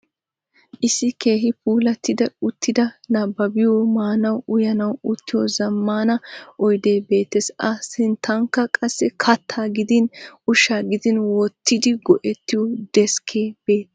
Issi keehi puulattida uttidi nabbabbiyo, maanawunne uyanawu uttiyo zammaana oyidee beettes. A sinttankka qassi kattaa gidin ushshaa gidin wottidi go'ettiyo deskkee beettes.